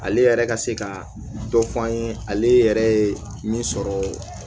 Ale yɛrɛ ka se ka dɔ fɔ an ye ale yɛrɛ min sɔrɔ